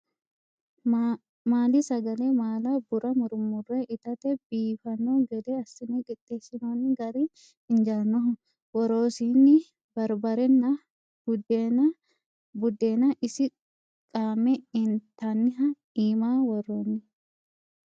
Maali sagale maala bura murmure itate biifano gede assine qixeesinonni gari injanoho woroosinni barbarenna budenna isi qaame intaniha iima woronni.